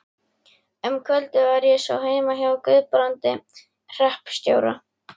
Um kvöldið var ég svo heima hjá Guðbrandi hreppstjóra.